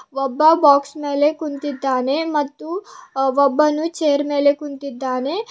ಒಬ್ಬ ಬಾಕ್ಸ್ ಮೇಲೆ ಕುಂತಿದ್ದಾನೆ ಮತ್ತು ಒಬ್ಬನು ಚೇರ್ ಮೇಲೆ ಕುಂತಿದ್ದಾನೆ.